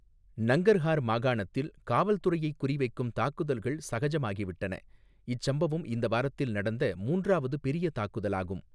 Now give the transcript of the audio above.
நங்கர்ஹார் மாகாணத்தில் காவல்துறையைக் குறிவைக்கும் தாக்குதல்கள் சகஜமாகிவிட்டன, இச்சம்பவம் இந்த வாரத்தில் நடந்த மூன்றாவது பெரிய தாக்குதலாகும்.